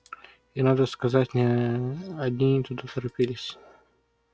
и надо сказать не одни туда торопились